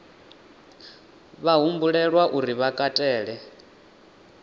vha humbelwa uri vha katele